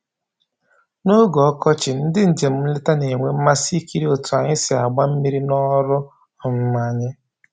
N'oge ọkọchị, ndị njem nleta na-enwe mmasị ikiri otu anyị si agba mmiri n'ọrụ um anyị